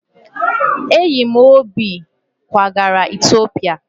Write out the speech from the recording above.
Enyi m Obi kwagara Etiopia